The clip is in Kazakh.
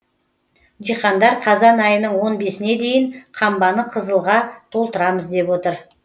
диқандар қазан айының он бесіне дейін қамбаны қызылға толтырамыз деп отыр